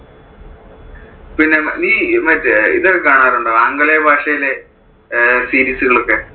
പിന്നെ നീ മറ്റേ അഹ് ഇതൊക്കെ കാണാറുണ്ടോ? ആംഗലേയ ഭാഷയിലെ series ഉകൾ ഒക്കെ?